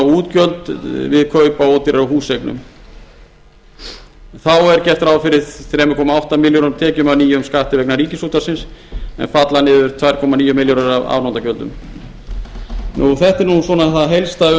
útgjöld við kaup á ódýrari húseignum þá er gert ráð fyrir þrjú komma átta milljónir króna tekjum af nýjum skatti vegna ríkisútvarpsins en falla niður tvö komma níu milljónir af afnotagjöldum þetta er það helsta